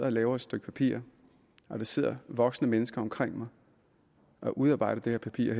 og laver et stykke papir når der sidder voksne mennesker omkring mig og udarbejder det her papir